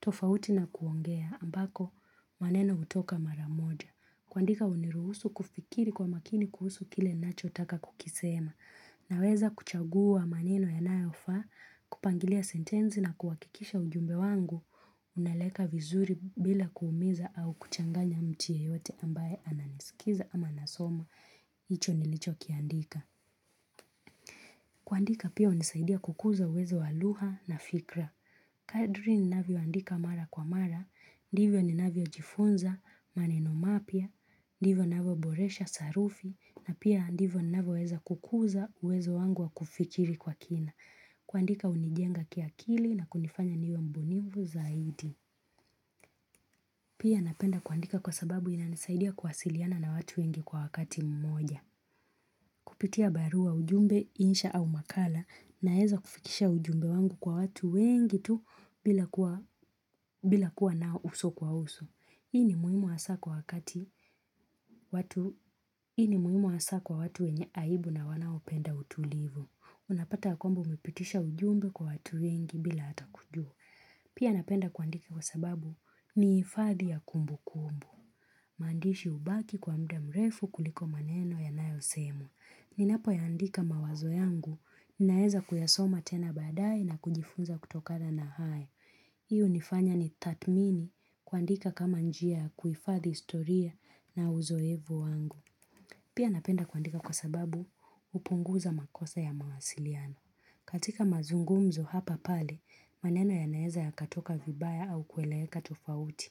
Tofauti na kuongea ambako maneno utoka mara moja. Kwandika huniruhusu kufikiri kwa makini kuhusu kile nacho taka kukisema. Na weza kuchagua maneno yanayofa, kupangilia sentenzi na kuwakikisha ujumbe wangu. Unaeleka vizuri bila kuumiza au kuchanganya mtu yeyote ambaye ananisikiza ama nasoma. Icho nilicho kiandika. Kwandika pia hunisaidia kukuza uwezo wa luha na fikra. Kaduri ninavio andika mara kwa mara, ndivyo ni navio jifunza, manenomapia, ndivyo navio boresha sarufi, na pia ndivyo navio weza kukuza uwezo wangu wa kufikiri kwa kina kuandika hunijenga kiakili na kunifanya niwe mbunivu zaidi Pia napenda kuandika kwa sababu inanesaidia kuwasiliana na watu wengi kwa wakati mmoja Kupitia barua ujumbe, insha au makala naheza kufikisha ujumbe wangu kwa watu wengi tu bila kuwa nao uso kwa uso. Hii ni muhimu asa kwa watu wenye aibu na wanao penda utulivu. Unapata ya kwambo umipitisha ujumbe kwa watu wengi bila hata kujua. Pia napenda kuandiki kwa sababu ni hifadhi ya kumbu kumbu. Mandishi ubaki kwa mda mrefu kuliko maneno ya nayo semwa. Ninapo yaandika mawazo yangu, ninaeza kuyasoma tena baadai na kujifunza kutokada na hae. Hii unifanya nitatmini kuandika kama njia kuifathi istoria na uzoevu wangu. Pia napenda kuandika kwa sababu hupunguza makosa ya mawasiliano. Katika mazungumzo hapa pale, maneno ya naeza ya katoka vibaya au kueleeka tofauti.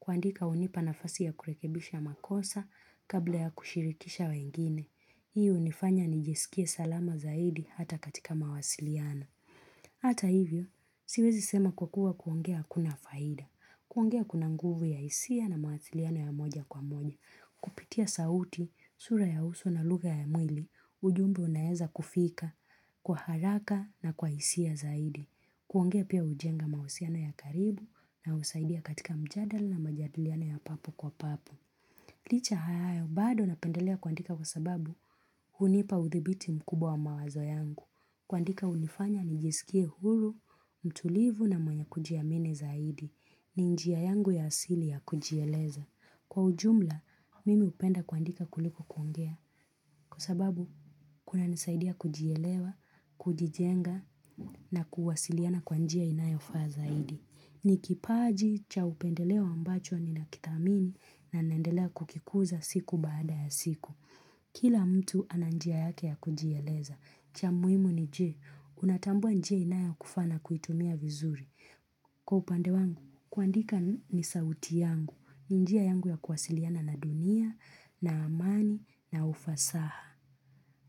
Kuandika unipa nafasi ya kurekebisha makosa kabla ya kushirikisha wengine. Hiyo nifanya nijesikie salama zaidi hata katika mawasiliano. Hata hivyo, siwezi sema kukua kuongea kuna faida, kuongea kuna nguvu ya isia na mawasiliana ya moja kwa moja, kupitia sauti, sura ya uso na luga ya mwili, ujumbe unaeza kufika, kwa haraka na kwa isia zaidi, kuongea pia hujenga mawusiano ya karibu na husaidia katika mjadal na majadiliano ya papu kwa papu. Licha hayayo, bado napendelea kuandika kwa sababu unipa uthibiti mkubwa wa mawazo yangu. Kuandika hunifanya, nijisikie huru, mtulivu na mwenye kujiamini zaidi. Ni njiayangu ya asili ya kujieleza. Kwa ujumla, mimi upenda kuandika kuliko kuongea. Kwa sababu, kuna nisaidia kujielewa, kujijenga na kuwasiliana kwanjia inayofa zaidi. Ni kipaji cha upendelewa ambacho ni nakitamini na nendelea kukikuza siku baada ya siku. Kila mtu ananjia yake ya kujiyeleza. Cha muimu ni je, unatambua nje inayo kufana kuitumia vizuri. Kwa upande wangu, kuandika ni sauti yangu. Ni njia yangu ya kuwasiliana na dunia, na amani, na ufasaha.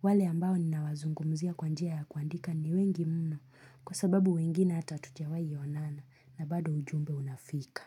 Wale ambao ni nawazungumzia kwa njia ya kuandika ni wengi mno. Kwa sababu wengine hata tujawai yonana na bado ujumbe unafika.